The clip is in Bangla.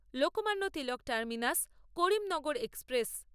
Lokmanya Tilak terminus Karimnagar express